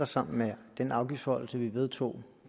sammen med den afgiftsforhøjelse som vi vedtog